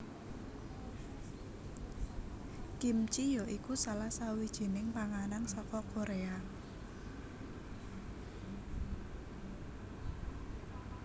Kimchi ya iku salah sawijining panganan saka Koréa